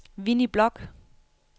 Winnie Bloch